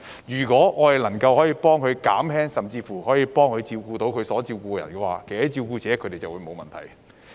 如果政府能夠幫輕一下甚至替他們照顧他們需照顧的人，那麼照顧者便沒有問題。